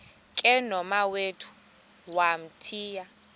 ke nomawethu wamthiya